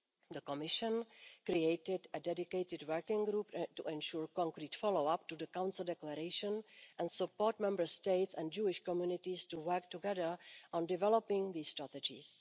The Commission created a dedicated working group to ensure concrete follow up to the Council declaration and support Member States and Jewish communities to work together on developing these strategies.